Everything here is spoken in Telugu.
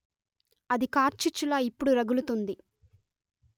అది కార్చిచ్చులా ఇప్పుడు రగులుతుంది